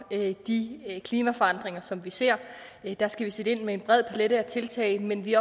de klimaforandringer som vi ser der skal vi sætte ind med en bred palet af tiltag men vi